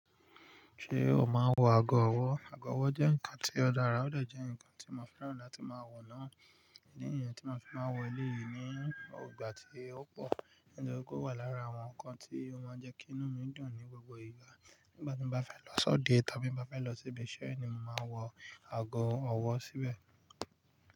Ṣé o máa ń wọ aago ọwọ́? Aago ọwọ́ jẹ́ nǹkan tí ó dára, ó de jẹ́ nǹkan tí mo fẹ́ràn láti máa wọ̀ náà. Idi nìyen tí mo fi máa wọ eléyì ní ìgbà tí ó pọ̀, nítorí ó wà lára àwọn nǹkan tí ó máa ń jẹ́ kí inú mi dùn ní gbogbo ìgbà. Nígbà tí mo bá fẹ́ lọ sọ́de tàbí bá fẹ́ lọ ṣíbí ṣe ẹ́ ni mo máa ń wọ aago ọwọ́ síbẹ̀